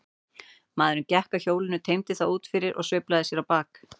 Maðurinn gekk að hjólinu, teymdi það út fyrir og sveiflaði sér á bak.